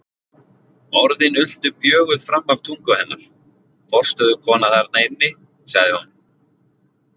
Orðin ultu bjöguð fram af tungu hennar: Forstöðukona þarna inni, sagði hún.